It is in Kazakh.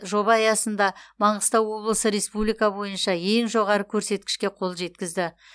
жоба аясында маңғыстау облысы республика бойынша ең жоғары көрсеткішке қол жеткізді